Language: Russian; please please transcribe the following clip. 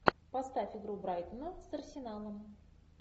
поставь игру брайтона с арсеналом